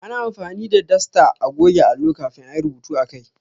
Ana amfani da dasta a goge allo kafin a yi rubutu akai